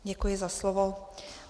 Děkuji za slovo.